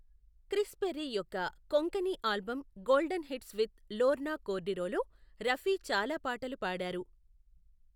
Chris Perry యొక్క Konkani album golden hits with Lorna కోర్డిరోలో రఫీ చాలా పాటలు పాడారు.